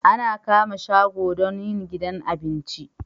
Ana kama shago don yin gidan abinci